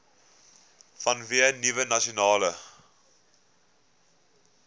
vanweë nuwe nasionale